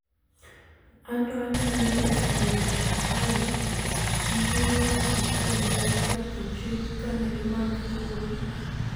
anto aneno ni, FBI gi piny owacho kae ne oketho chik kane gimake kowuok Dubai